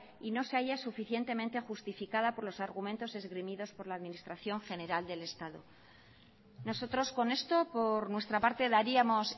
y no se haya suficientemente justificada por los argumentos esgrimidos por la administración general del estado nosotros con esto por nuestra parte daríamos